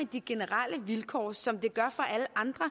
de generelle vilkår som det gør for alle andre